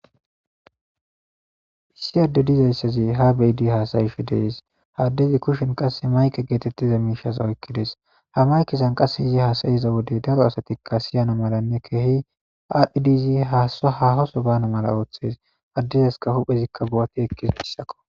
issi adde dizayssazi ha beyidi haasayishe de'es haa addezi kushen qasse mayke geetettiza miishasa oykkides ha maykesan qasse izi haasayiza wode daro asatikka siyana malanne kehi aadhidizi haasa hahoso bana mala ooththes addezaska huphezikka buwati ekkizaysako